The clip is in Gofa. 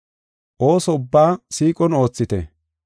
Ooso ubbaa siiqon oothite.